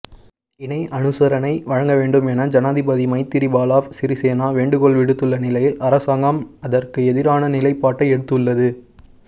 இணைஅனுசரனை வழங்கவேண்டாம் என ஜனாதிபதி மைத்திரிபால சிறிசேன வேண்டுகோள் விடுத்துள்ள நிலையில் அரசாங்கம் அதற்கு எதிரான நிலைப்பாட்டை எடுத்துள்ளது